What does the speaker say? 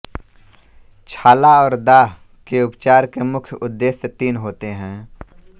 छाला और दाह के उपचार के मुख्य उद्देश्य तीन होते हैं